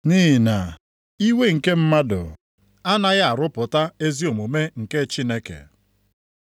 Nʼihi na iwe nke mmadụ anaghị arụpụta ezi omume nke Chineke.